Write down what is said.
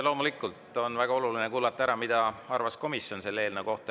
Loomulikult on väga oluline kuulata ära, mida arvas komisjon selle eelnõu kohta.